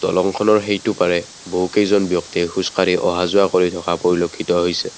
দলংখনৰ সেইটো পাৰে বহুকেইজন ব্যক্তিয়ে খোজকাঢ়ি অহাযোৱা কৰি থকা পৰিলক্ষিত হৈছে।